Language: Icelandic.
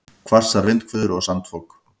Hvassar vindhviður og sandfok